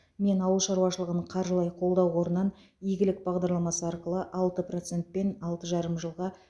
мен ауыл шаруашылығын қаржылай қолдау қорынан игілік бағдарламасы арқылы алты процентпен алты жарым жылға